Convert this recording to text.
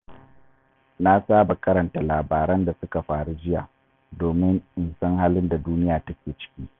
Na saba karanta labaran da suka faru jiya domin in san halin da duniya take ciki.